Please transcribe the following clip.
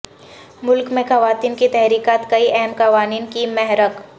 ملک میں خواتین کی تحریکات کئی اہم قوانین کی محرک